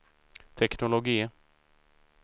teknologi